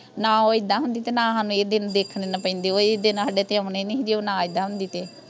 ਨਾ ਓਹ ਐਦਾਂ ਹੁੰਦੀ ਤੇ ਨਾ ਸਾਨੂੰ ਇਹ ਦਿਨ ਦੇਖਣੇ ਨਾ ਪੈਂਦੇ ਓਹ ਇਹ ਦਿਨ ਸਾਡੇ ਤੇ ਆਉਣੇ ਨਹੀਂ ਸੀ ਜੇ ਓਹ ਨਾ ਐਦਾਂ ਹੁੰਦੀ ਤੇ